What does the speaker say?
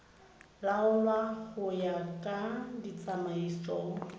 laolwa go ya ka ditsamaiso